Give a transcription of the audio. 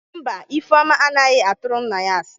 Mba, Ifeoma anaghi Iying nye nna ya.